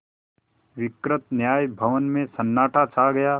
विस्तृत न्याय भवन में सन्नाटा छा गया